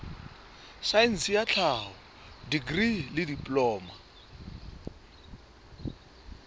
saense ya tlhaho dikri diploma